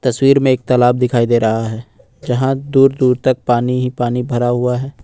तस्वीर में एक तालाब दिखाई दे रहा है जहां दूर दूर तक पानी ही पानी भरा हुआ है।